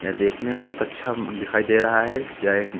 देखने में बहुत अच्छा दिखाई दे रहा है या एक--